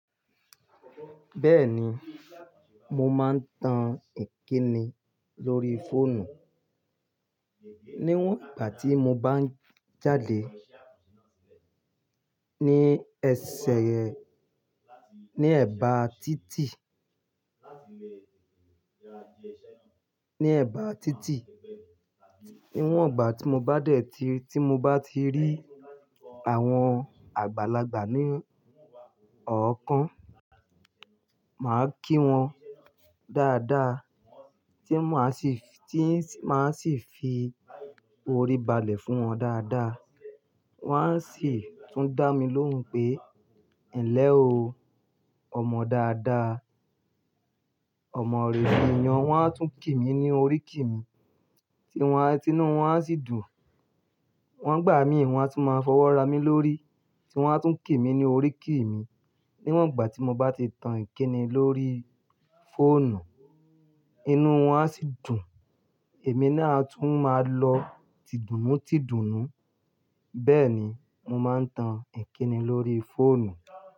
Bẹ́ẹ̀ni, mo máa ń tan ìkíni lórí fóònù. Níwọ̀n ìgbà tí mo bá n jáde, ní ẹsẹ̀ yẹn, ní ẹ̀bá títì, ní ẹ̀bá títì. Níwọ̀n ìgbà tí mo bá dẹ̀ tí, tí mo bá ti rí àwọn àgbàlagbà ní ọ̀ọ́kán, màá kí wọn dáadáa tí máa sì, tí n s, máa sì fi orí balẹ̀ fún wọn dáadáa. Wọ́n á sì tún dá mi lóhùn pé, "ẹ̀ n lẹ́ o, ọmọ dáadáa, ọmọre biiyan" wọ́n á tún kí mi ní oríkí mi, tínu wọ́n a, tinú wọn á sì dùn. Wọ́n n gbà mií, wọn á tún máa fọwọ́ ra mí lórí, tí wọ́n á tún kí mi ní oríkí mi. Níwọ̀n ìgbà tí mo bá ti tan ìkíni lórí fóònù, inú wọn á sì dùn, èmi naa a tún máa lọ tídùnú tídùnú. Bẹ́ẹ̀ni, mo máa ń tan ìkíni lórí fóònù.